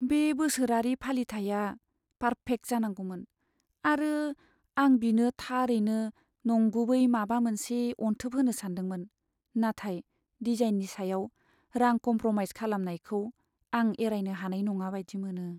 बे बोसोरारि फालिथाइया पार्फेक्ट जानांगौमोन, आरो आं बिनो थारैनो नंगुबै माबा मोनसे अनथोब होनो सानदोंमोन। नाथाय डिजाइननि सायाव रां कमप्र'माइज खालामनायखौ आं एरायनो हानाय नङा बायदि मोनो।